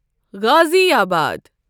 غازِی آباد